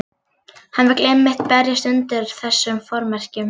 Hann vill einmitt berjast undir þessum formerkjum.